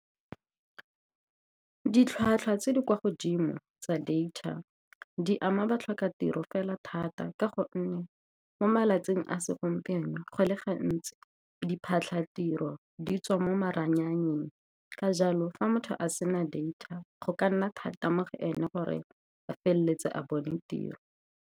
Ditlhwatlhwa tse di kwa godimo tsa data di ama batlhoka tiro fela thata, ka gonne mo malatsing a segompieno bontsi jwa diphatlhatiro di tswa mo maranyaneng. Ka jalo, fa motho a sena data, go ka nna thata mo go ene gore a feleletse a bone tiro.